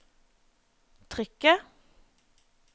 trykket